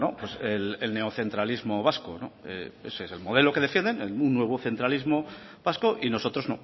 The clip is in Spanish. pues el neocentralismo vasco ese es el modelo que defienden un nuevo centralismo vasco y nosotros